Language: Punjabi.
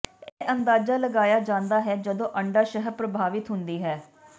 ਇਹ ਅੰਦਾਜ਼ਾ ਲਗਾਇਆ ਜਾਂਦਾ ਹੈ ਜਦੋਂ ਅੰਡਾਸ਼ਯ ਪ੍ਰਭਾਵਿਤ ਹੁੰਦੀ ਹੈ